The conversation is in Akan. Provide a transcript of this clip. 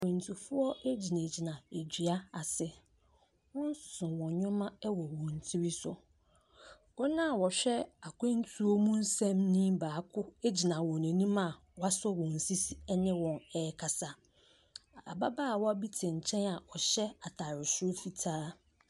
Akwantufoɔ gyinagyina dua ase. Wɔso wɔn nneɛma wɔ wɔn tiri so. Wɔn a wɔhwɛ akwantuo mu nsɛm so gyina wɔn anim a wɔasɔ wɔn sisi ne wɔn rekasa. Ababaawa bi te nkyɛn a ɔhyɛ ataare soro fitaa.